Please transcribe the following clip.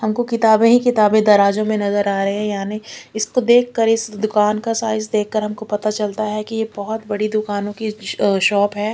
हमको किताबे है किताबे तराजू में नजर आ रहे है यानी इसको देख कर इस दूकान का साइज़ देख कर हमको पता चलता है कि ये बहोत बड़ी दुकानों कि स शॉप है।